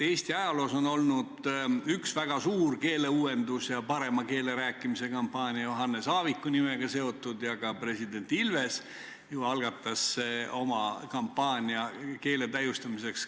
Eesti ajaloos on üks väga suur keeleuuendus ja parema keele rääkimise kampaania olnud seotud Johannes Aaviku nimega ning ka president Ilves algatas ju oma kampaania keele täiustamiseks.